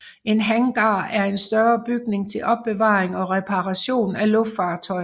En hangar er en større bygning til opbevaring og reparation af luftfartøjer